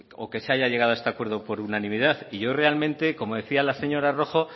o que se haya llegado a este acuerdo por unanimidad y yo realmente como decía la señora rojo